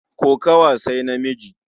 Kokawa sai namiji.